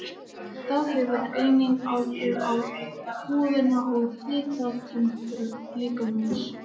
Það hefur einnig áhrif á húðina og hitatemprun líkamans.